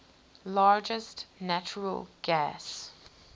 largest natural gas